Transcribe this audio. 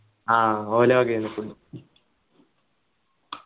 ആഹ് ഒലോക് എന്നെ food